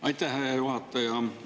Aitäh, hea juhataja!